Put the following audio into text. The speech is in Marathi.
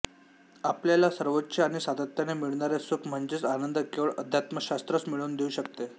आपल्याला सर्वोच्च आणि सातत्याने मिळणारे सुख म्हणजेच आनंद केवळ अध्यात्मशास्त्रच मिळवून देऊ शकते